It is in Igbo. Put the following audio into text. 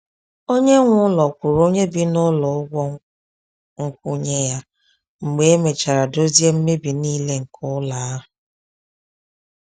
Onye nwe ụlọ kwụrụ onye bi n’ụlọ ụgwọ nkwụnye ya mgbe e mechara dozie mmebi nile nke ụlọ ahụ.